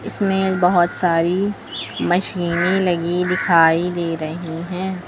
इसमें एक बहुत सारी मशीने लगी दिखाई दे रही हैं।